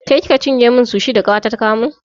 Ke kika cinye min sushi da ƙawata ta kawo min?